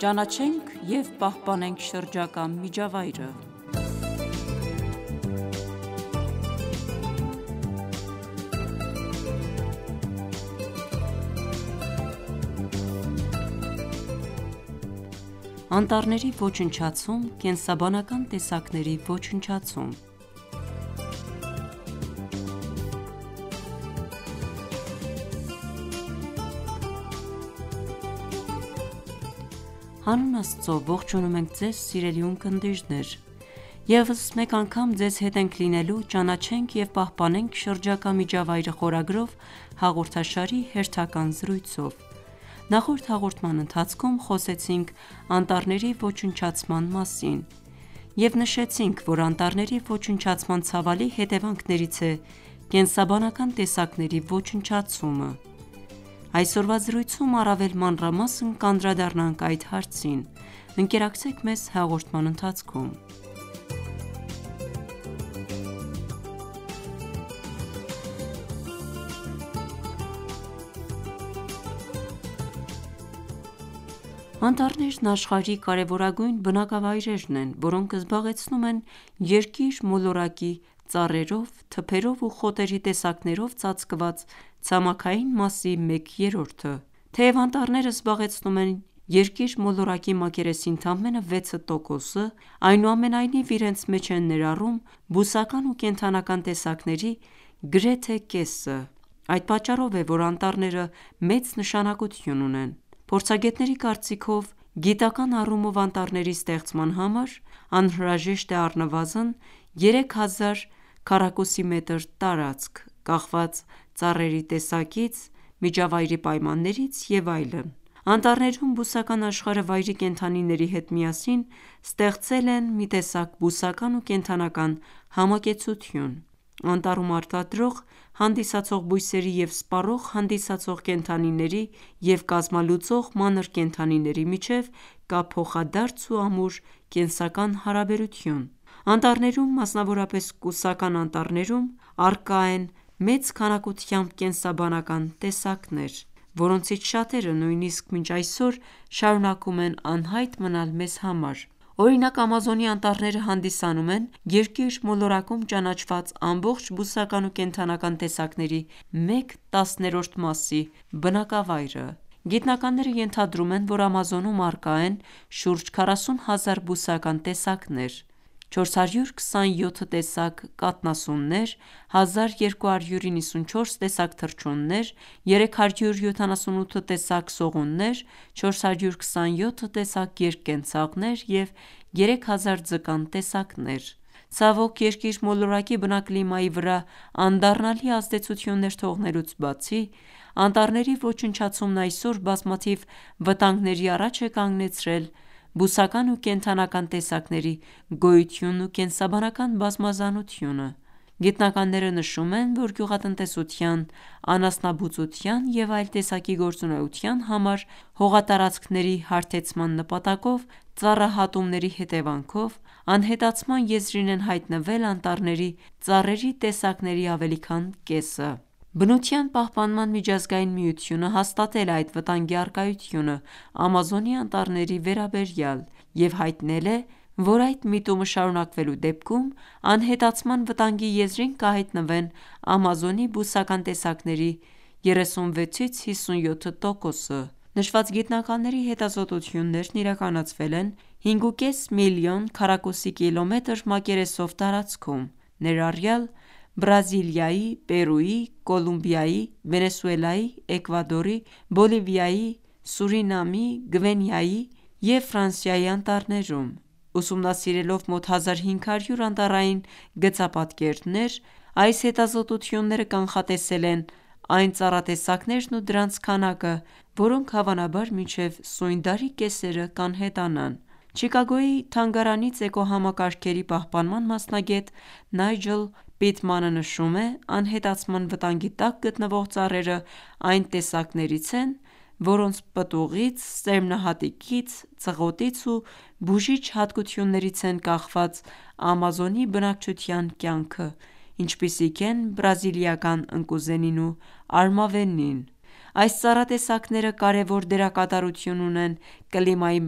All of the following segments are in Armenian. Ճանաչենք և պահպանենք շրջակա միջավայրը Անտառների ոչնչացում՝ կենսաբանական տեսակների ոչնչացում Հանուն Աստծո, ողջունում ենք Ձեզ սիրելի ունկնդիրներ: Եվս մեկ անգամ ձեզ հետ ենք լինելու «Ճանաչենք և պահպանենք շրջակա միջավայրը» խորագրով հաղորդաշարի հերթական զրույցով: Նախորդ հաղորդման ընթացքում խոսեցինք անտառների ոչնչացման մասին և նշեցինք, որ անտառների ոչնչացման ցավալի հետևանքներից է կենսաբանական տեսակների ոչնչացումը: Այսօրվա զրույցում առավել մանրամասն կանդրադառնանք այդ հարցին: Ընկերակցեք մեզ հաղորդման ընթացքում: Անտառները աշխարհի կարևորագույն բնակավայրերն են, որոնք զբաղեցնում են երկիր մոլորակի՝ ծառերով, թփերով ու խոտերի տեսակներով ծածկված ցամաքային մասի մեկ երրորդը: Թեև անտառները զբաղեցնում են երկիր մոլորակի մակերեսի ընդամենը 6 տոկոսը, այնուամենայնիվ իրենց մեջ են ներառում բուսական ու կենդանական տեսակների գրեթե կեսը: Այդ պատճառով է, որ անտառները մեծ նշանակություն ունեն: Փորձագետների կարծիքով, գիտական առումով անտառների ստեղծման համար անհրաժեշտ է առնվազն 3000քմ տարածք կախված ծառերի տեսակից, միջավայրի պայմաններից և այլն: Անտառներում բուսական աշխարհը վայրի կենդանիների հետ միասին ստեղծել են մի տեսակ բուսական ու կենդանական համակեցություն: Անտառում արտադրող հանդիսացող բույսերի և սպառող հանդիսացող կենդանիների և կազմալուծող մանր կենդանիների միջև կա փոխադարձ ու ամուր կենսական հարաբերություն: Անտառներում, մասնավորապես կուսական անտառներում, առկա են մեծ քանակությամբ կենսաբանական տեսակներ, որոնցից շատերը նույնիսկ մինչև այսօր շարունակում են անհայտ մնալ մեզ համար: Օրինակ Ամազոնի անտառները հանդիսանում են երկիր մոլորակում ճանաչված ամբողջ բուսական ու կենդանական տեսակների մեկ տասներորդ մասի բնակավայրը: Գիտնականները ենթադրում են, որ Ամազոնում առկա են շուրջ 40 հազար բուսական տեսակներ, 427 տեսակ կաթնասուններ, 1294 տեսակ թռչուններ, 378 տեսակ սողուններ, 427 տեսակ երկկենցաղներ և 3000 ձկան տեսակներ: Ցավոք, երկիր մոլորակի բնակլիմայի վրա անդառնալի ազդեցություններ թողնելուց բացի, անտառների ոչնչացումն այսօր բազմաթիվ վտանգների առաջ է կանգնեցրել բուսական ու կենդանական տեսակների գոյությունն ու կենսաբանական բազմազանությունը: Գիտնականները նշում են, որ գյուղատնտեսության, անասնաբուծության և այլ տեսակի գործունեության համար հողատարածքների հարթեցման նպատակով ծառահատումների հետևանքով, անհետացման եզրին են հայտնվել անտառների ծառերի տեսակների ավելի քան կեսը: Բնության պահպանման միջազզգային միությունը հաստատել է այդ վտանգի առկայությունը Ամազոնի անտառների վերաբերյալ և հայտնել է, որ այդ միտումը շարունակվելու դեպքում անհետացման վտանգի եզրին կհայտնվեն Ամազոնի բուսական տեսակների 36-57 տոկոսը: Նշված գիտնականների հետազոտությունները իրականացվել են 5.5 մլն քկիլոմետր մակերեսով տարածքում, ներառյալ Բրազիլիայի, Պերույի, Կոլումբիայի, Վենեսուելայի, Էկվադորի, Բոլիվիայի, Սուրինամի, Գվինեայի և Ֆրանսիայի անտառներում: Ուսումնասիրելով մոտ 1500 անտառային գծապատկերներ, այս հետազոտությունները կանխատեսել են այն ծառատեսակներն ու դրանց քանակը, որոնք հավանաբար մինչև սույն դարի կեսերը կանհետանան: Չիկագոյի թանգարանից Էկոհամակարգերի պահպանման մասնագետ Նայջլ Պիտմանը նշում է. «Անհետացման վտանգի տակ գտնվող ծառերը այն տեսակներից են, որոնց պտուղից, սերմնահատիկից, ծղոտից ու բուժիչ հատկություններից են կախված Ամազոնի բնակչության կյանքը, ինչպիսիք են բրազիլական ընկուզենին ու արմավենին: Այս ծառատեսակները կարևոր դերակատարություն ունեն կլիմայի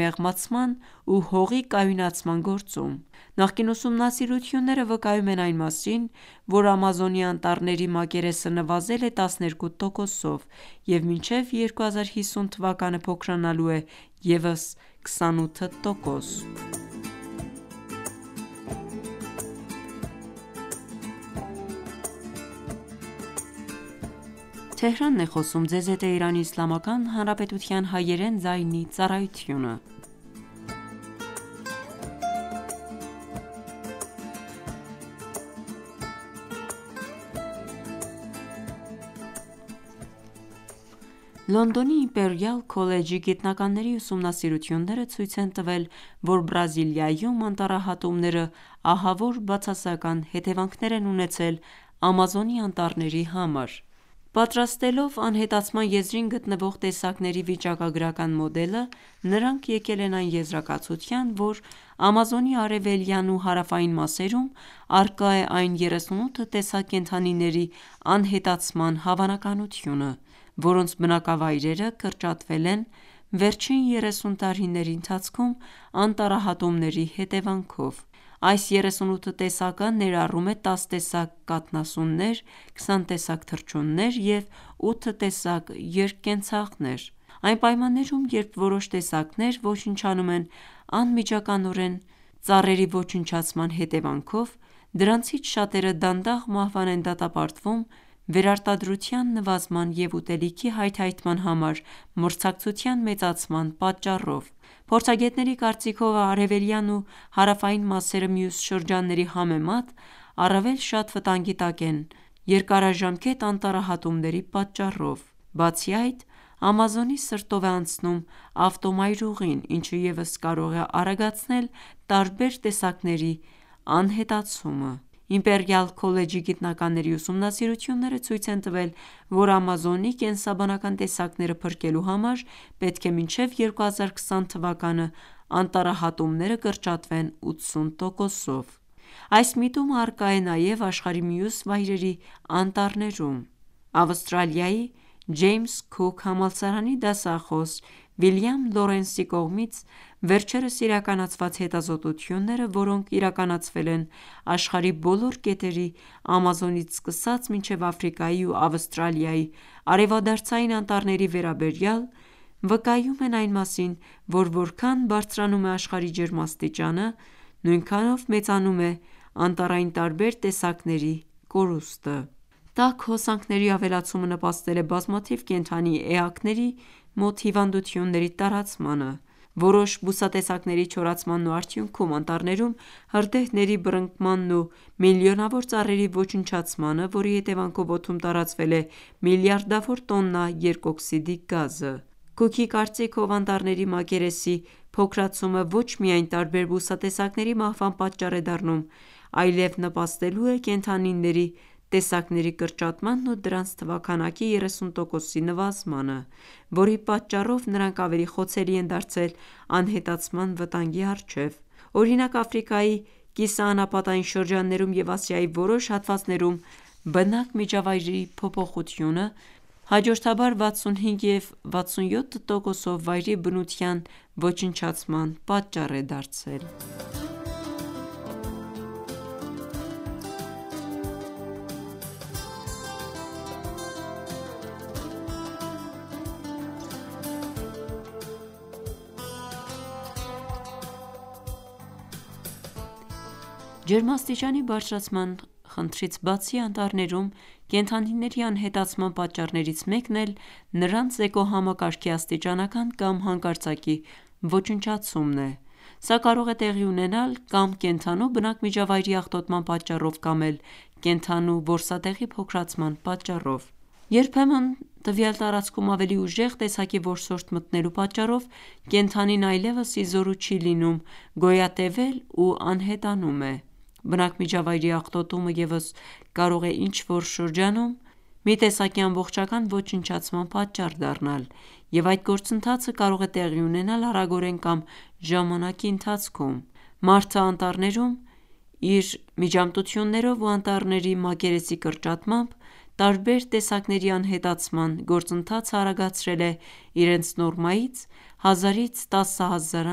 մեղմացման ու հողի կայունացման գործում: Նախկին ուսումնասիրությունները վկայում են այն մասին, որ Ամազոնի անտառների մակերեսը նվազել է 12 տոկոսով և մինչև 2050թ. փոքրանալու է ևս 28 տոկոս»: Լոնդոնի «Իմպերիալ Քոլեջի» գիտնականների ուսումնասիրությունները ցույց են տվել, որ Բրազիլիայում անտառահատումները ահավոր բացասական հետևանքներ են ունեցել Ամազոնի անտառների համար: Պատրաստելով անհետացման եզրին գտնվող տեսակների վիճակագրական մոդելը, նրանք եկել են այն եզրակացության, որ Ամազոնի արևելյան ու հարավային մասերում առկա է այն 38 տեսակ կենդանիների անհետացման հավանականությունը, որոնց բնակավայրերը կրճատվել են վերջին 30 տարիների ընթացքում անտառահատումների հետևանքով: Այս 38 տեսակը ներառում է 10 տեսակ կաթնասուններ, 20 տեսակ թռչուններ և 8 տեսակ երկկենցաղներ: Այն պայմաններում, երբ որոշ տեսակներ ոչնչանում են անմիջականորեն ծառերի ոչնչացման հետևանքով, դրանցից շատերը դանդաղ մահվան են դատապարտվում վերարտադրության նվազման և ուտելիքի հայթհայթման համար մրցակցության մեծացման պատճառով: Փորձագետների կարծիքով, արևելյան ու հարավային մասերը մյուս շրջանների համեմատ առվելի շատ վտանգի տակ են երկարաժամկետ անտառահատումների պատճառով: Բացի այդ, Ամազոնի սրտով է անցնում ավտոմայրուղին, ինչը ևս կարող է արագացնել տարբեր տեսակների անհետացումը: «Իմպերիալ Քոլեջի» գիտնականների ուսումնասիրությունները ցույց են տվել, որ Ամազոնի կենսաբանական տեսակները փրկելու համար պետք է մինչև 2020թ. անտառահատումները կրճատվեն 80 տոկոսով: Այս միտումը առկա է նաև աշխարհի մյուս վայրերի անտառներում: Ավստրալիայի «Ջեյմս-Քուք» համալսարանի դասախոս Վիլիամ Լորենսի կողմից վերջերս իրականացված հետազոտությունները, որոնք իրականացվել են աշխարհի բոլոր կետերի՝ Ամազոնից սկսած մինչև Աֆրիկայի ու Ավստրալիայի արևադարձային անտառների վերաբերյալ, վկայում են այն մասին, որ որքան բարձրանում է աշխարհի ջերմաստիճանը, նույնքանով մեծանում է անտառային տարբեր տեսակների կորուստը: Տաք հոսանքների ավելացումը նպաստել է բազմաթիվ կենդանի էակների մոտ հիվանդությունների տարածմանը, որոշ բուսատեսակների չորացմանն ու արդյունքում անտառներում հրդեհների բռնկմանն ու միլիոնավոր ծառերի ոչնչացմանը, որի հետևանքով օդում տարածվել է միլիարդավոր տոննա երկօքսիդի գազը: Քուքի կարծիքով, անտառների մակերեսի փոքրացումը ոչ միայն տարբեր բուսատեսակների մահվան պատճառ է դառնում, այլև նպաստելու է կենդանիների տեսակների կրճատմանն ու նրանց թվաքանակի 30 տոկոսի նվազմանը, որի պատճառով նրանք ավելի խոցելի են դարձել անհետացման վտանգի առջև: Օրինակ՝ Աֆրիկայի կիսաանապատային շրջաններում և Ասիայի որոշ հատվածներում բնակմիջավայրերի փոփոխությունը հաջորդաբար 65 և 67 տոկոսով վայրի բնության ոչնչացման պատճառ է դարձել: Ջերմաստիճանի բարձրացման խնդրից բացի, անտառներում կենդանիների անհետացման պատճառներից մեկն էլ նրանց էկոհամակարգի աստիճանական կամ հանկարծակի ոչնչացումն է: Սա կարող է տեղի ունենալ կա՛մ կենդանու բնակմիջավայրի աղտոտման պատճառով, կա՛մ էլ կենդանու որսատեղի փոքրացման պատճառով: Երբեմն տվյալ տարածքում ավելի ուժեղ տեսակի որսորդ մտնելու պատճառով կենդանին այլևս ի զորու չի լինում գոյատևել ու անհետանում է: Բնակմիջավայրի աղտոտումը ևս կարող է ինչ-որ շրջանում մի տեսակի ամբողջական ոչնչացման պատճառ դառնալ և այդ գործընթացը կարող է տեղի ունենալ արագորեն կամ ժամանակի ընթացքում: Մարդը անտառներում իր միջամտություններով ու անտառների մակերեսի կրճատմամբ տարբեր տեսակների անհետացման գործընթացը արագացրել է իրենց նորմայից 1000-10000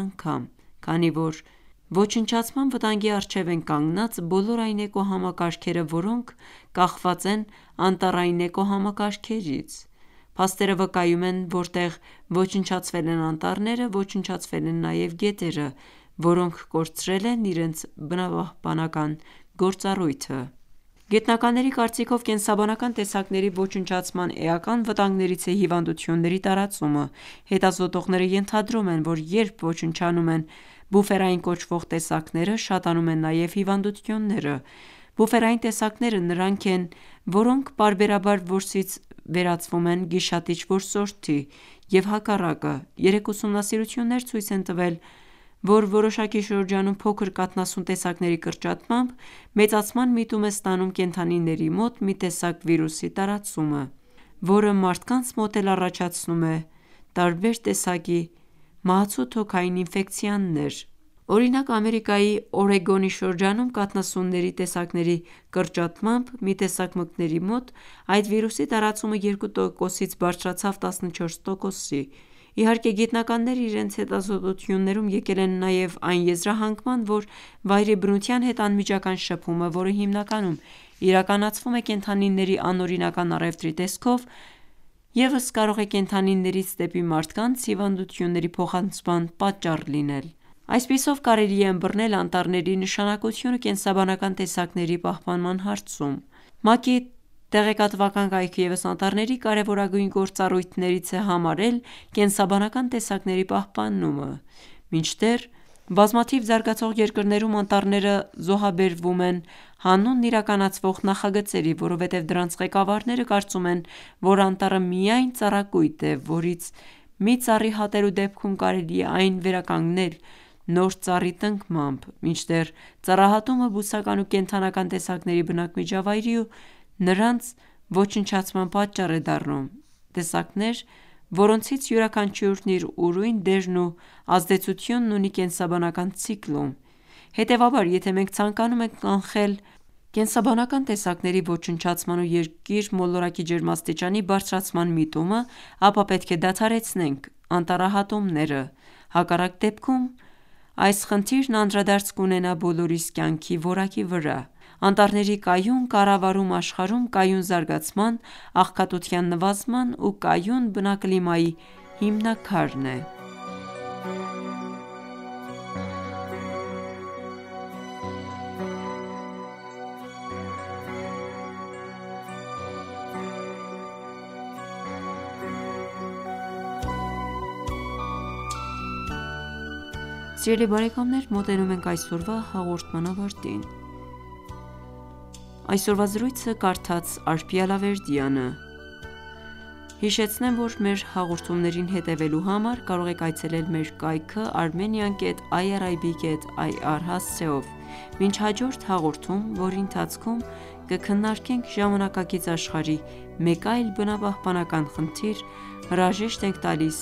անգամ, քանի որ ոչնչացման վտանգի առջև են կանգնած բոլոր այն էկոհամակարգերը, որոնք կախված են անտառային էկոհամակարգերից: Փաստերը վկայում են՝ որտեղ ոչնչացվել են անտառները, ոչնչացվել են նաև գետերը, որոնք կորցրել են իրենց բնապահպանական գործառույթը: Գիտնականների կարծիքով, կենսաբանական տեսակների ոչնչացման էական վտանգներից է հիվանդությունների տարածումը: Հետազոտողները ենթադրում են, որ երբ ոչնչանում են բուֆերային կոչվող տեսակները, շատանում են նաև հիվանդությունները: Բուֆերային տեսակները նրանք են, որոնք պարբերաբար որսից վերածվում են գիշատիչ որսորդի և հակառակը: Երեք ուսումնասիրություններ ցույց են տվել, որ որոշակի շրջանում փոքր կաթնասուն տեսակների կրճատմամբ մեծացման միտում է ստանում կենդանիների մոտ մի տեսակ վիրուսի տարածումը, որը մարդկանց մոտ էլ առաջացնում է տարբեր տեսակի մահացու թոքային ինֆեկցիաներ: Օրինակ Ամերիկայի Օրեգոնի շրջանում կաթնասունների տեսակների կրճատմամբ, մի տեսակ մկների մոտ այդ վիրուսի տարածումը 2 տոկոսից բարձրացավ 14 տոկոսի: Իհարկե, գիտնականները իրենց հետազոտություններում եկել են նաև այն եզրահանգման, որ վայրի բնության հետ անմիջական շփումը, որը հիմնականում իրականացվում է կենդանիների անօրինական առևտրի տեսքով, ևս կարող է կենդանիներից դեպի մարդկանց հիվանդությունների փոխանցման պատճառ լինել: Այսպիսով կարելի է ըմբռնել անտառների նշանակությունը կենսաբանական տեսակների պահպանման հարցում: ՄԱԿ-ի տեղեկատվական կայքը ևս անտառների կարևորագույն գործառույթներից է համարել կենսաբանական տեսակների պահպանումը, մինչդեռ բազմաթիվ զարգացող երկրներում անտառները զոհաբերվում են հանուն իրականացվող նախագծերի, որովհետև դրանց ղեկավարները կարծում են, որ անտառը միայն ծառակույտ է, որից մի ծառ հատելու դեպքում կարելի է այն վերականգնել նոր ծառի տնկմամբ, մինչդեռ ծառահատումը բուսական ու կենդանական տեսակների բնակմիջավայրի ու նրանց ոչնչացման պատճառ է դառնում, տեսակներ, որոնցից յուրաքանչյուրն իր ուրույն դերն ու ազդեցությունն ունի կենսաբանական ցիկլում: Հետևաբար, եթե մենք ցանկանում ենք կանխել կենսաբանական տեսակների ոչնչացման ու երկիր մոլորակի ջերմաստիճանի բարձրացման միտումը, ապա պետք է դադարեցնենք անտառահատումները, հակառակ դեպքում այս խնդիրն անդրադարձ կունենա բոլորիս կյանքի որակի վրա: Անտառների կայուն կառավարումը աշխարհում կայուն զարգացման, աղքատության նվազման ու կայուն բնակլիմայի հիմնաքարն է: Սիրելի բարեկամներ, մոտենում ենք այսօրվա հաղորդման ավարտին: Մինչ հաջորդ հաղորդում, որի ընթացքում կքննարկենք ժամանակակից աշխարհի մեկ այլ բնապահպանական խնդիր, հրաժեշտ ենք տալիս